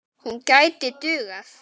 Hún gæti dugað.